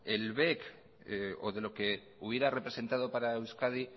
el bec o de los que hubiera representado para euskadi